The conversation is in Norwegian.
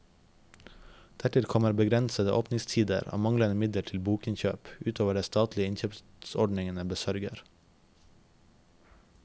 Dertil kommer begrensede åpningstider og manglende midler til bokinnkjøp, utover det de statlige innkjøpsordningene besørger.